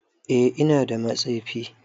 Eh ina da matsefi.